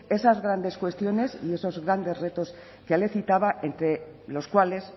esas grandes cuestiones y esos grandes retos que le citaba entre los cuales